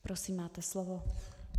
Prosím, máte slovo.